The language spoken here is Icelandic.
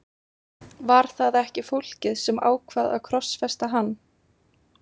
Var það ekki fólkið sem ákvað að krossfesta hann?